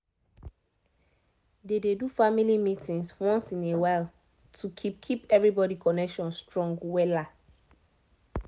they dey do family meetings once in a while to keep keep everybody connection strong um